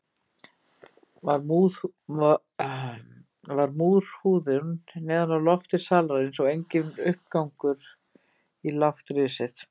Var múrhúðun neðan á lofti salarins og enginn uppgangur í lágt risið.